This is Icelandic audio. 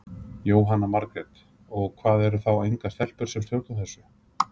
Jóhanna Margrét: Og, og hvað, eru þá engar stelpur sem stjórna þessu?